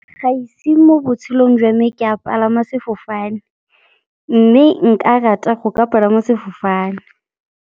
Ga ise mo botshelong jwa me ke a palama sefofane, mme nka rata go ka palama sefofane.